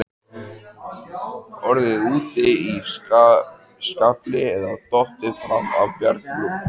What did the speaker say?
Orðið úti í skafli eða dottið fram af bjargbrún.